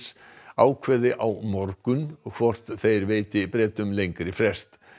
ákveði á morgun hvort þeir veiti Bretum lengri frest